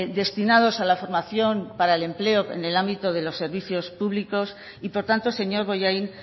destinados a la formación para el empleo en el ámbito de los servicios públicos y por tanto señor bollain